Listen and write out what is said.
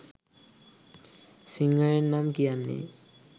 සිංහලෙන් නම් කියන්නේ